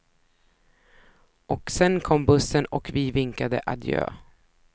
Och sen kom bussen och vi vinkade adjö.